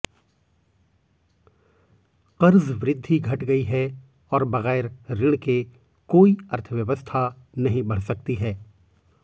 कर्ज वृद्घि घट गई है और बगैर ऋण के कोई अर्थव्यवस्था नहीं बढ़ सकती है